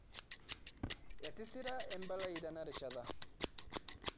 Etisira Embalai tenarishata